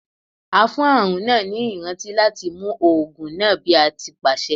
A fún àrùn náà ni ìrántí láti mu oògùn náà bí a ti pàṣẹ.